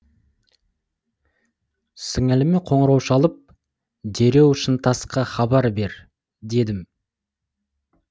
сіңліме қоңырау шалып дереу шынтасқа хабар бер дедім